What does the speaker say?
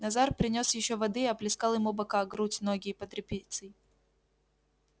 назар принёс ещё воды и оплескал ему бока грудь ноги и под репицей